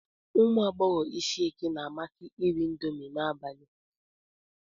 Ụmụ agbọghọ Ishieke na-amasị iri indomi n'abalị.